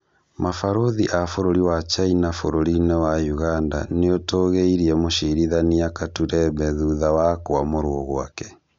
Mabarũthi aa bũrũri wa China bũrũri-inĩ wa Ũganda nĩũtũgĩirie mũcirithania Katureebe thutha wa kwamũrwo gwake